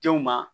Denw ma